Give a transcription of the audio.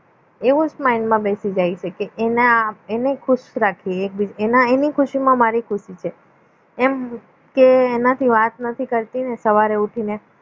એવું જ mind માં બેસી જાય છે કે એના એને ખુશ રાખીએ એને એની ખુશીમાં મારી ખુશી છે એમ કે એનાથી વાત નથી કરતી ને સવારે ઊઠીને